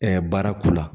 baara k'u la